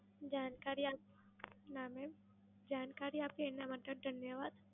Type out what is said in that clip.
જાણકારી, ના મેડમ. જાણકારી આપી એના માટે ધન્યવાદ.